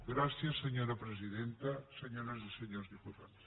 gràcies senyora presidenta senyores i senyors diputats